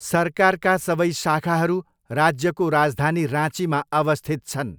सरकारका सबै शाखाहरू राज्यको राजधानी राँचीमा अवस्थित छन्।